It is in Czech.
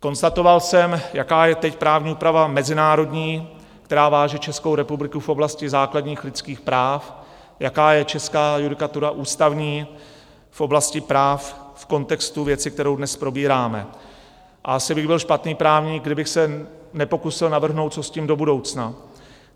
Konstatoval jsem, jaká je teď právní úprava mezinárodní, která váže Českou republiku v oblasti základních lidských práv, jaká je česká judikatura ústavní v oblasti práv v kontextu věci, kterou dnes probíráme, a asi bych byl špatný právník, kdybych se nepokusil navrhnout, co s tím do budoucna.